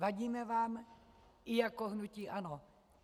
Vadíme vám i jako hnutí ANO.